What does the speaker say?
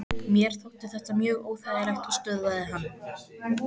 Mér þótti þetta mjög óþægilegt og stöðvaði hann.